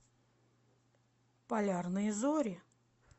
полярные зори